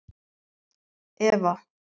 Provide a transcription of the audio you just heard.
Eva